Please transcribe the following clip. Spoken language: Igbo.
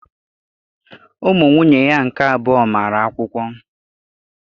Ụmụ nwunye ya nke abụọ mara akwụkwọ